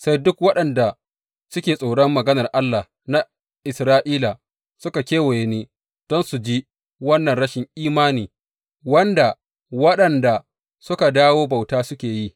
Sai duk waɗanda suke tsoron maganar Allah na Isra’ila suka kewaye ni don su ji wannan rashin imani wanda waɗanda suka dawo bauta suka yi.